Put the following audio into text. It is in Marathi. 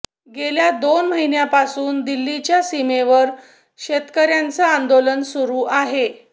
गेल्या दोन महिन्यांपासून दिल्लीच्या सीमेवर शेतकऱ्यांचं आंदोलन सुरु आहे